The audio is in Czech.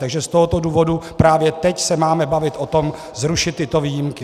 Takže z tohoto důvodu právě teď se máme bavit o tom, zrušit tyto výjimky.